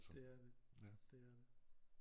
Det er det det er det